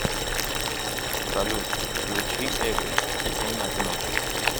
салют включи эго иду на дно